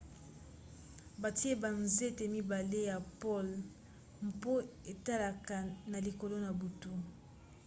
batie banzete mibale ya pole mpo etalaka na likolo na butu